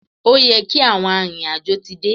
Ó yẹ kí àwọn arìnrìn-àjò ti dé.